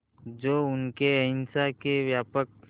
जो उनके अहिंसा के व्यापक